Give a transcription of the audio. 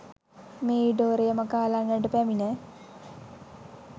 මේ ඉඩෝරය මකාලන්නට පැමිණ